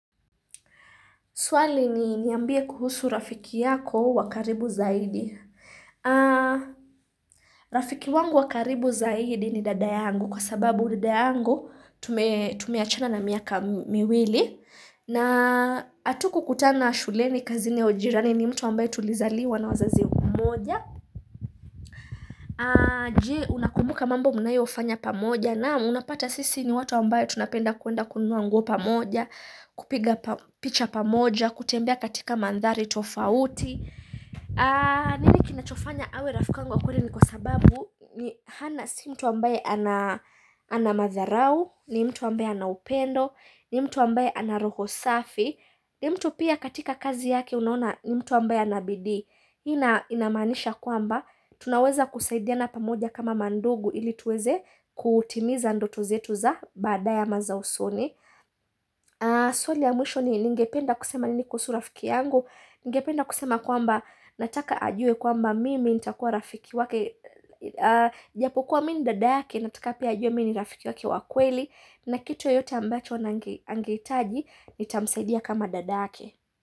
Swali ni niambie kuhusu rafiki yako wakaribu zaidi. Rafiki wangu wa karibu zaidi ni dada yangu kwa sababu dada yangu tumeachana na miaka miwili. Na hatukukutana shuleni kazini au jirani ni mtu ambaye tulizaliwa na wazazi wamoja. Je unakumbuka mambo mnayo fanya pamoja naam unapata sisi ni watu ambaye tunapenda kwenda kununua nguo pamoja, kupiga picha pamoja, kutembea katika mandhari tofauti Nimi kinachofanya awe rafiki wangu wa kweli ni kwa sababu hana si mtu ambaye ana madharau, ni mtu ambaye ana upendo, ni mtu ambaye ana roho safi ni mtu pia katika kazi yake unaona ni mtu ambaye anabidii hii inamaanisha kwamba, tunaweza kusaidiana pamoja kama mandugu ili tuweze kutimiza ndoto zetu za baada ye ama za usoni swali ya mwisho ningependa kusema nini kuhusu rafiki yangu ningependa kusema kwamba nataka ajue kwamba mimi nitakuwa rafiki wake japo kuwa mimi dada yake nataka pia ajue mimi ni rafiki wake wa kweli na kitu yoyote ambacho angehitaji nita msaidia kama dadake.